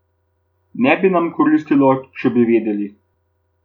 Ne bi nam koristilo, če bi vedeli.